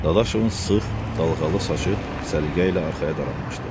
Dadaşovun sıx, dalğalı saçı səliqə ilə arxaya daranmışdı.